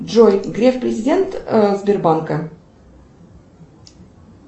джой греф президент сбербанка